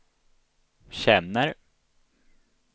känner